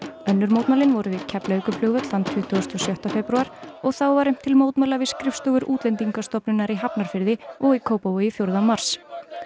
önnur mótmælin voru við Keflavíkurflugvöll þann tuttugasta og sjötta febrúar og þá var efnt til mótmæla við skrifstofur Útlendingastofnunar í Hafnarfirði og í Kópavogi fjórða mars